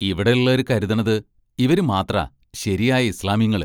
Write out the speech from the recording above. ഇവിടേള്ളാര് കരുതണത് ഇവര് മാത്രമാ ശെരിയായ ഇസ്ളാമിങ്ങള്.